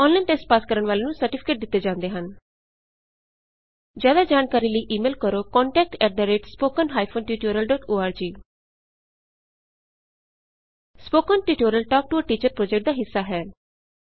online test pass ਕਰਨ ਵਾਲਿਆਂ ਨੂੰ ਸਰਟੀਫਿਕੇਟ ਦਿੱਤੇ ਜਾਂਦੇ ਹਨ ਜਿਆਦਾ ਜਾਣਕਾਰੀ ਲਈ ਈ ਮੇਲ ਕਰੋ contactspoken tutorialorg spoken tutorial talk to a teacher project ਦਾ ਹਿੱਸਾ ਹੈ